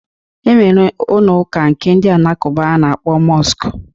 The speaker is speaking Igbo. E nwere ụnọ ụka nke ndị alakụba a na-akpọ mọsk.